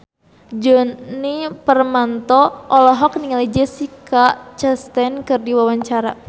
Djoni Permato olohok ningali Jessica Chastain keur diwawancara